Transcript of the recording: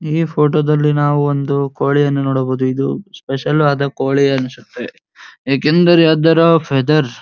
ಈ ಫೋಟೋದಲ್ಲಿ ನಾವು ಒಂದು ಕೋಳಿಯನ್ನು ನೋಡಬಹುದು ಇದು ಸ್ಪೆಷಲ್ ಆದ ಕೋಳಿ ಅನ್ನಸುತ್ತೆ ಏಕೆಂದರೆ ಅದರ ಫೆದರ್ಸ್ .